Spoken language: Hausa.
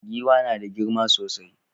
Giwa nada girma sosai